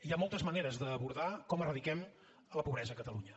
hi ha moltes maneres d’abordar com eradiquem la pobresa a catalunya